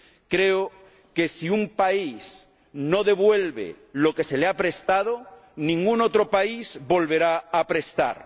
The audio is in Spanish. Creo que, si un país no devuelve lo que se le ha prestado, ningún otro país volverá a prestar.